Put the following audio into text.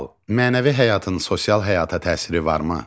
Mənəvi həyatın sosial həyata təsiri varmı?